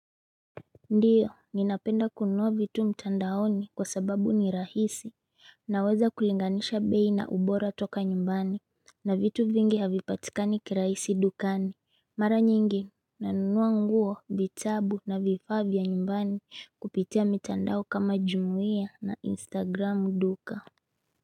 Ndiyo, ninapenda kununua vitu mtandaoni kwa sababu ni rahisi, naweza kulinganisha bei na ubora toka nyumbani, na vitu vingi havipatikani kirahisi dukani. Mara nyingi, nanunua nguo, vitabu na vifaa vya nyumbani kupitia mitandao kama jumia na instagram duka.